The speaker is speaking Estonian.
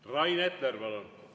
Rain Epler, palun!